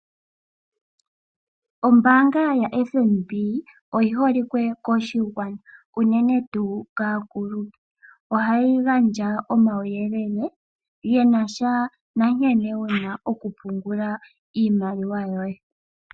Ombaanga yo-FNB, oyi holike koshigwana, uunene tuu kaakulupe. Oha yi gandja omauyelele kombinga yankene wuna oku pungula iimaliwa yoye.